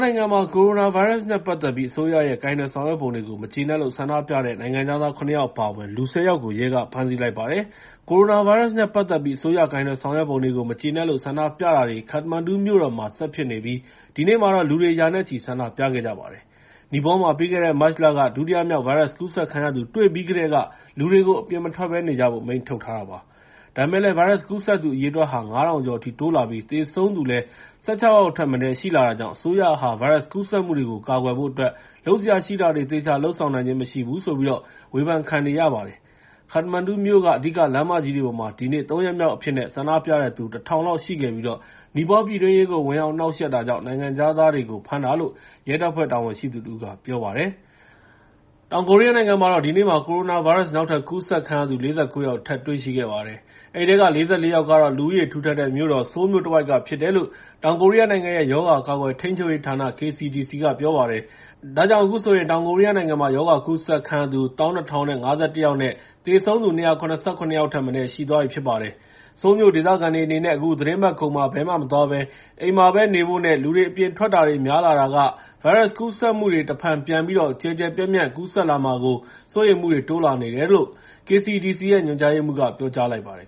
နိုင်ငံမှာ ကိုရိုနာဗိုင်းရပ်စ်နဲ့ ပတ်သက်ပြီး အစိုးရရဲ့ ကိုင်တွယ်ဆောင်ရွက်ပုံတွေပေါ် မကျေနပ်လို့ ဆန္ဒပြတဲ့ နိုင်ငံခြားသား ၇ ယောက် အပါအဝင် လူ ၁၀ ယောက်ကို ရဲက ဖမ်းဆီးလိုက်ပါတယ်။ ကိုရိုနာဗိုင်းရပ်စ်နဲ့ ပတ်သက်ပြီး အစိုးရရဲ့ ကိုင်တွယ်ဆောင်ရွက်ပုံတွေကို မကျေနပ်လို့ ဆန္ဒပြတာတွေ ခတ္တမန်ဒူမြို့တော်မှာ ဆက်ဖြစ်နေပြီး ဒီနေ့မှာတော့ လူတွေ ရာနဲ့ချီပြီး ဆန္ဒပြခဲ့ကြပါတယ်။ နီပေါမှာ ပြီးခဲ့တဲ့ မတ်လက ဒုတိယမြောက် ဗိုင်းရပ်စ်ကူးစက်ခံရသူ တွေ့ရှိပြီးကတည်းက လူတွေကို အပြင်မထွက်ဘဲနေကြဖို့ အမိန့်ထုတ်ထားတာပါ။ ဒါပေမယ့်လည်း ဗိုင်းရပ်စ်ကူးစက်သူ အရေအတွက်ဟာ ၅,၀၀၀ ကျော်အထိ တိုးလာပြီး သေဆုံးသူလည်း ၁၆ ယောက်ထက်မနည်း ရှိလာတာကြောင့် အစိုးရဟာ ဗိုင်းရပ်စ်ကူးစက်မှုတွေကို ကာကွယ်ဖို့အတွက် လုပ်စရာရှိတာတွေကို သေချာလုပ်ဆောင်နိုင်ခြင်း မရှိဘူးလို့ ဝေဖန်ခံနေရတာ ဖြစ်ပါတယ်။ ခတ္တမန်ဒူမြို့က အဓိကလမ်းမကြီးတွေပေါ်မှာ ဒီနေ့ ၃ ရက်မြောက်အဖြစ်နဲ့ ဆန္ဒပြတဲ့သူ ၁,၀၀၀ လောက်ရှိခဲ့ပြီး နီပေါပြည်တွင်းရေးကို ဝင်ရောက်နှောင့်ယှက်တာကြောင့် နိုင်ငံခြားသားတွေကို ဖမ်းတာလို့ ရဲတပ်ဖွဲ့ တာဝန်ရှိသူတဦးက ပြောပါတယ်။ တောင်ကိုရီးယားနိုင်ငံမှာတော့ ဒီနေ့မှာ ကိုရိုနာဗိုင်းရပ်စ် နောက်ထပ်ကူးစက်ခံရသူ ၄၉ ယောက် ထပ်တွေ့ရှိခဲ့ပါတယ်။ အဲဒီထဲက ၄၄ ယောက်ကတော့ လူဦးရေထူထပ်တဲ့ မြို့တော် ဆိုးလ်မြို့တဝိုက်က ဖြစ်တယ်လို့ တောင်ကိုရီးယားနိုင်ငံရဲ့ ရောဂါကာကွယ်ထိန်းချုပ်ရေးဌာန (KCDC) က ပြောပါတယ်။ ဒါကြောင့် အခုဆိုရင် တောင်ကိုရီးယားနိုင်ငံမှာ ရောဂါကူးစက်ခံရသူ ၁၂,၀၅၁ ယောက်နဲ့ သေဆုံးသူ ၂၇၇ ယောက်ထက်မနည်း ရှိသွားပြီဖြစ်ပါတယ်။ ဆိုးလ်မြို့ဒေသခံတွေအနေနဲ့ အခုသီတင်းပတ်ကုန်မှာ ဘယ်မှမသွားဘဲ အိမ်မှာပဲနေဖို့နဲ့ လူတွေ အပြင်ထွက်တာတွေ များလာတာကနေ ဗိုင်းရပ်စ်ကူးစက်မှုတွေ တဖန်ပြန်ပြီးတော့ ကျယ်ကျယ်ပြန့်ပြန့် ကူးစက်လာမှာကို စိုးရိမ်မှုတွေ တိုးလာနေတယ်လို့ KCDC ညွှန်ကြားရေးမှူးက ပြောကြားလိုက်ပါတယ်